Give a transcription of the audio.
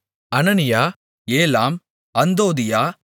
அனனியா ஏலாம் அந்தோதியா